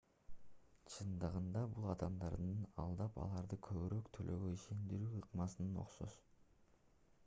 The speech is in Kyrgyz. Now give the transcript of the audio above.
чындыгында бул адамдарды алдап аларды көбүрөөк төлөөгө ишендирүү ыкмасына окшош